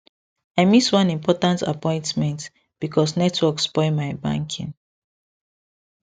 i miss one important appointment because network spoil my banking